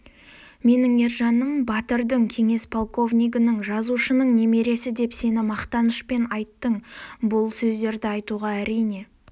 менің ержаным батырдың кеңес полковнигінің жазушының немересі деп сені мақтанышпен айттың бұл сөздерді айтуға әрине